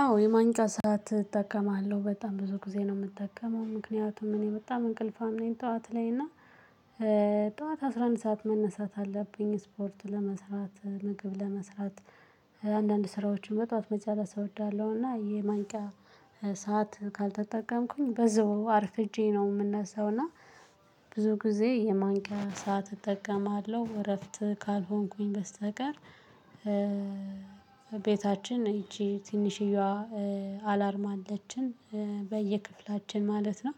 አዎ የማንቅያ ሰዓት እጠቀማለሁ በጣም ብዙ ጊዜ ነው የምጠቀመው ምክንያቱም እኔ በጣም እንቅልፋም ነኝ ጠዋት ላይ እና ጠዋት አስራ አንድ ሰዓት መነሳት አለብኝ ስፖርቱ ለመስራት ምግብ ለመስራት። አንዳንድ ስራዎችን በጧት መጨረስ እወዳለሁ እና ይሄ ማንቂያ ሰዓት ካልተጠቀምኩኝ በዛው አርፍጄ ነው የምነሳው። እና ብዙ ጊዜ የማንቂያ ሰዓት እጠቀማለሁ እረፍት ካልሆንኩኝ በስተቀር። ቤታችን ይቺ ትንሽዬዋ አላርም አለችን በየክፍላችን ማለት ነው።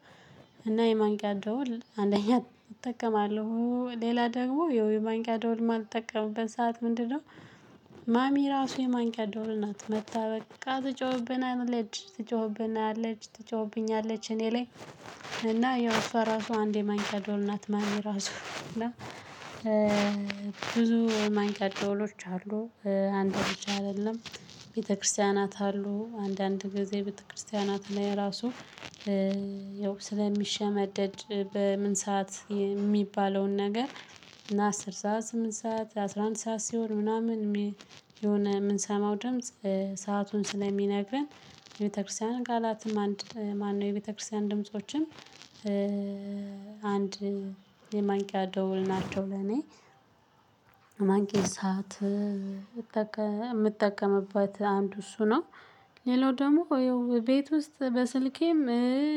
እና የማንቅያ ደውል አንደኛ እጠቀማለሁ ሌላ ደግሞ የውይ ማንቅያ ደውል ማልጠቀምበት ሰዓት ምንድነው? ማሚ ራሱ የማንቅያ ደወል ናት መጥታ በቃ ትጮህብናለች ትጮህብናለች ትጮህብኛለች። እኔ ላይ እና ያው እሷ ራሷ አንድ የማንቅያ ደወል ናት። ማሚ ራሱ እና ብዙ የማንቅያ ደውሎች አሉ አንድ ብቻ አይደለም። ቤተክርስቲያናት አሉ አንዳንድ ጊዜ ቤተክርስቲያናት ላይ ራሱ። ያው ስለሚሸመደድ በምን ሰዓት የሚባለውን ነገር እና አስር ሰዓት ስምንት ሰዓት አስራ አንድ ሰዓት ሲሆን ምናምን የሆነ የምንሰማው ድምጽ ሰአቱን ስለሚነግረን። የቤተክርስቲያን ቃላትም አንድ ማነው የቤተክርስቲያን ድምፆችም አንድ የማንቅያ ደውል ናቸው ለኔ። ማንቂያ ስዓት የምጠቀምባት አንዱ እሱ ነው። ሌላው ደግሞ ቤት ውስጥ በስልኬም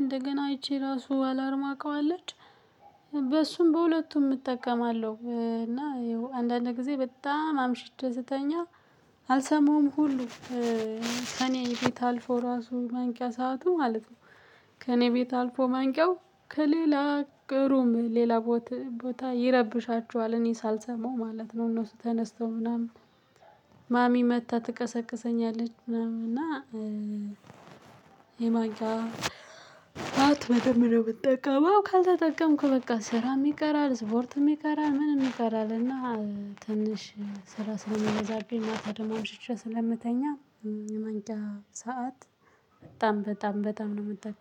እንደገና አይቼ ራሱ አላርማ አውቀዋለች። በሱም በሁለቱም እጠቀማለሁ እና አንዳንድ ጊዜ በጣም አምሽተህ ስተኛ አልሰማሁም ሁሉ። ከእኔ ቤት አልፎ ራሱ ማንቂያ ሰዓቱ ማለት ነው። ከእኔ ቤት አልፎ ማንቂያው ከሌላ ቅሩም ሌላ ቦታ ይረብሻቸዋል እኔ ሳልሰማው ማለት ነው። እነሱ ተነስተው ምናምን ማሚ መጥታ ትቀሰቅሰኛለች ምናምን። እና የማንቅያ ስዓት በደንብ ነው የምትጠቀመው ካልተጠቀምኩ በቃ ስራም ይቀራል ስፖርትም ይቀራል ምንም ይቀራል። እና ትንሽ ስራ ስለምበዛብኝ ማታ ደሞ አምሽቼ ስለምተኛ። የማንቅያ ሰዓት በጣም በጣም በጣም ነው የምትጠቀመው